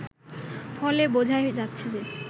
ফলে বোঝাই যাচ্ছে যে